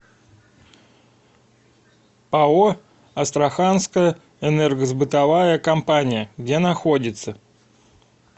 пао астраханская энергосбытовая компания где находится